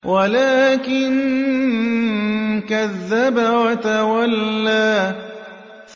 وَلَٰكِن كَذَّبَ وَتَوَلَّىٰ